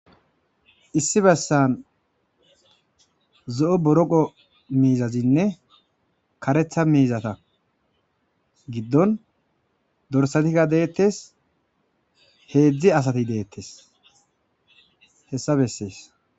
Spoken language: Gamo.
Issi bessan zo'o boroqo miizazinne karetha miizata giddon dorsatikka deettes heedzdzi asati deettes hessa bessees.